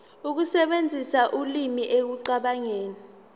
ukusebenzisa ulimi ekucabangeni